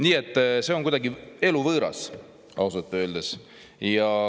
Nii et see on ausalt öeldes kuidagi eluvõõras.